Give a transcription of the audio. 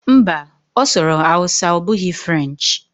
Mba, ọ na-asụ Hausa ọ bụghị French